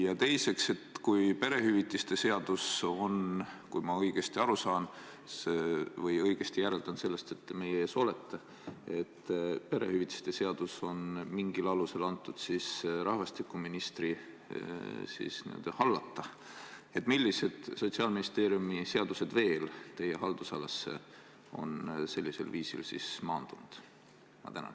Ja teiseks: kui perehüvitiste seadus on – ma järeldan seda sellest, et te meie ees olete – mingil alusel antud rahvastikuministri hallata, siis millised Sotsiaalministeeriumi seadused veel teie haldusalasse on sellisel viisil maandunud?